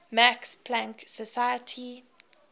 max planck society